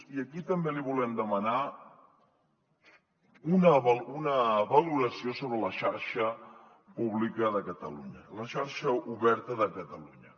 i aquí també li volem demanar una valoració sobre la xarxa pública de catalunya la xarxa oberta de catalunya